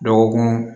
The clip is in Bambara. Dɔgɔkun